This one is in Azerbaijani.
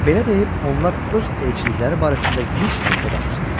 Belə deyib onlar öz elçilikləri barəsində gic Hansa danışdılar.